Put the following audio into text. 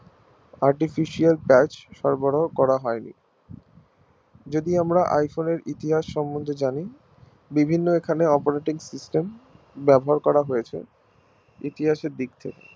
Artificial patch সরবরাহ করা হয় নি যদি আমরা iPhone এর ইতিহাস সম্মন্ধে জানি বিভিন্ন রকম এর operating system ব্যবহার করা হয়েছে ইতিহাস এর দিক থেকে